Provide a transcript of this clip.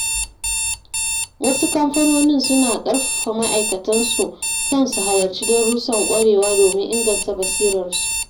Wasu kamfanonin suna ƙarfafa ma’aikatansu kan su halarci darussan ƙwarewa domin inganta basirar su.